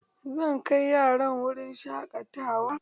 Zan kai yarana wurin shaƙatawa